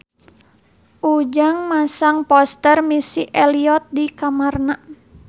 Ujang masang poster Missy Elliott di kamarna